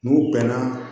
N'u bɛnna